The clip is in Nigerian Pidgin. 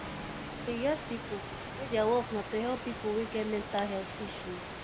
e get pipo wey their work na to help pipo wey get mental health issues